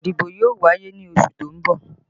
Ìdìbò yóò wáyé ní oṣù tó ń bọ̀